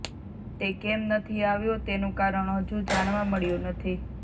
તે કેમ નથી આવ્યો તેનું કારણ હજુ જાણવા નથી મળ્યું